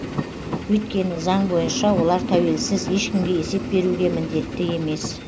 өйткені заң бойынша олар тәуелсіз ешкімге есеп беруге міндетті емес